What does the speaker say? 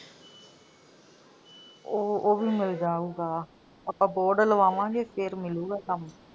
ਉਹ, ਉਹ ਵੀ ਮਿਲ ਜਾਊਗਾ। ਆਪਾਂ board ਲਵਾਵਾਂਗੇ ਫਿਰ ਮਿਲੂਗਾ ਕੱਮ।